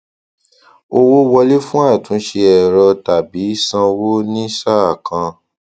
owó wọlé fún àtúnṣe ẹrọ tàbí sánwo ní sàá kan